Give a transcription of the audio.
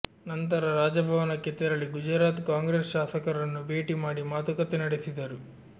ನಂತರ ರಾಜಭವನಕ್ಕೆ ತೆರಳಿ ಗುಜರಾತ್ ಕಾಂಗ್ರೆಸ್ ಶಾಸಕರನ್ನು ಬೇಟಿ ಮಾಡಿ ಮಾತುಕತೆ ನಡೆಸಿದರು